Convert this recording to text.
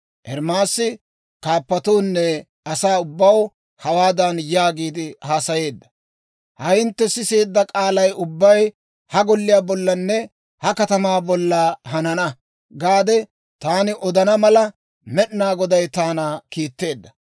Ermaasi kaappatoonne asaa ubbaw hawaadan yaagiide haasayeedda; «Ha hintte siseedda k'aalay ubbay ha Golliyaa bollanne ha katamaa bolla, ‹Hanana› gaade taani odana mala, Med'inaa Goday taana kiitteedda.